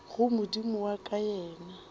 go modimo wa ka yena